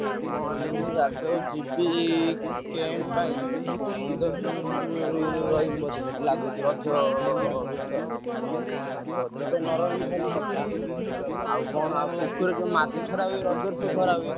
କାମ ମାନେ ଗୋଟେ ଜାଗାକୁ ଯିବି camp ପାଇଁ ପନ୍ଦର ଦିନି ଖଣ୍ଡେ ରହିବି ବୋଧେ ସେଠି ଲାଗୁଛି ରଜ ଭିତର। ଆଉ ଯଦି ତ ନ ରହିଲି ଭଲ କଥା। ଆଉ କଣ ଆଉ ପୋଖରୀରେ ଯୋଉ ମାଛ ଛଡା ହୁଏ ରଜରେ ସବୁ ଧରା ହୁଏ।